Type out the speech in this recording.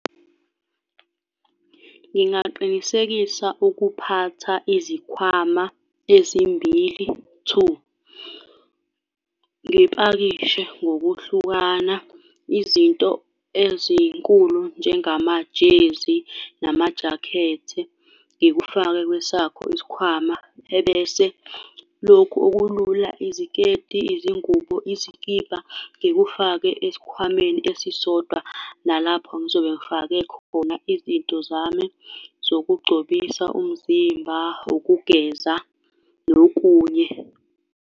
Ngingaqinisekisa ukuphatha izikhwama ezimbili, two. Ngipakishe ngokuhlukana izinto ezinkulu njengamajezi namajakhethi, ngikufake kwesakho isikhwama, ebese lokhu okulula, iziketi, izingubo, izikibha, ngikufake esikhwameni esisodwa, nalapho ngizobe ngifake khona izinto zami zokugcobisa umzimba, ukugeza nokunye.